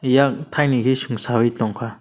yak thainwi khe sungsawui tongkha.